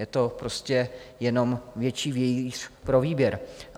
Je to prostě jenom větší vějíř pro výběr.